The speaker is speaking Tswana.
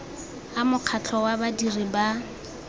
a mokgatlho wa badirisi ba